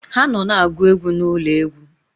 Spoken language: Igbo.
Ha nọ na-agụ egwu n'ụlọ egwu.